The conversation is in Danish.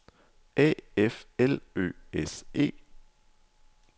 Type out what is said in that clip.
A F L Ø S E